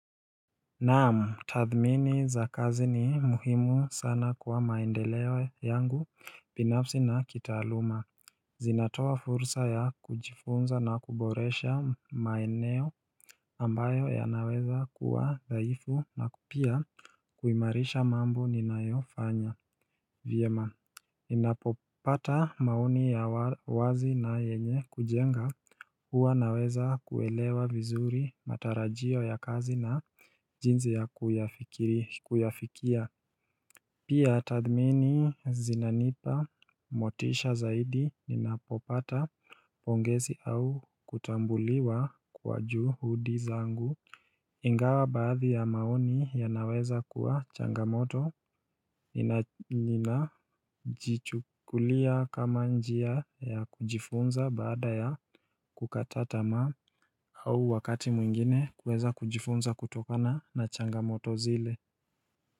Naamu tathmini za kazi ni muhimu sana kuwa maendeleo yangu binafsi na kitaaluma Zinatoa fursa ya kujifunza na kuboresha maeneo ambayo yanaweza kuwa zaifu na kupia kuimarisha mambo ninayofanya vyema Ninapopata maoni ya wazi na yenye kujenga huwa naweza kuelewa vizuri matarajio ya kazi na jinzi ya kuyafikia Pia tathmini zinanipa motisha zaidi ninapopata pongezi au kutambuliwa kwa juu hudi zangu Ingawa baadhi ya maoni yanaweza kuwa changamoto inajichukulia kama njia ya kujifunza baada ya kukata tamaa au wakati mwingine kuweza kujifunza kutokana na changamoto zile.